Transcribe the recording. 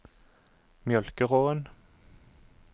Mjølkeråen